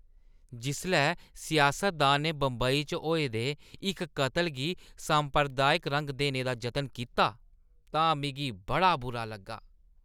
जेल्लै सियासतदानै ने बंबई च होए दे इक कत्ल गी सांप्रदायिक रंग देने दा जतन कीता तां मिगी बड़ा बुरा लग्गा।